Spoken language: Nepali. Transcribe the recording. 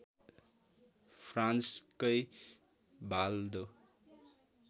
फ्रान्सकै भाल दो